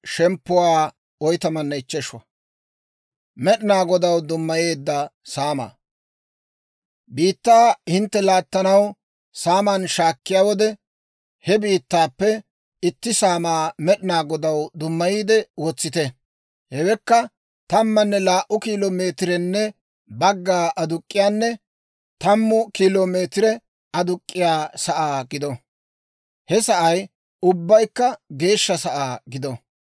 «‹ «Biittaa hintte laattanaw saaman shaakkiyaa wode, he biittaappe itti saamaa Med'inaa Godaw dummayiide wotsite. Hewekka tammanne laa"u kilo meetirenne bagga aduk'k'iyaanne tammu kilo meetire aakkiyaa sa'aa gido. He sa'ay ubbaykka geeshsha sa'aa gido.